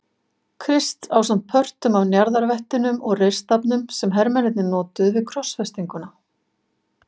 Krists ásamt pörtum af njarðarvettinum og reyrstafnum sem hermennirnir notuðu við krossfestinguna.